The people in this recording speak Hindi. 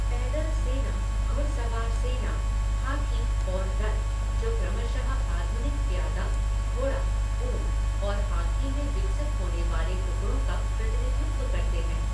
पैदल सेना, घुड़सवार सेना, हाथी और रथ, जो क्रमशः आधुनिक प्यादा, घोडा, ऊँट और हाथी में विकसित होने वाले टुकड़ों का प्रतिनिधित्व करते हैं।